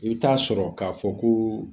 I bi taa sɔrɔ ka fɔ ko